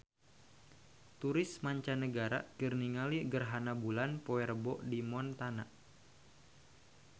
Turis mancanagara keur ningali gerhana bulan poe Rebo di Montana